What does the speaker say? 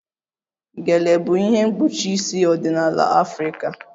Gele bụ ihe mkpuchi isi ọdịnala Afrịka